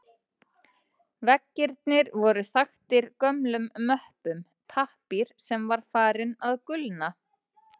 Veggirnir voru þaktir gömlum möppum, pappír sem var farinn að gulna.